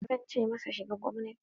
Zan ce masa, shiga gwamnati!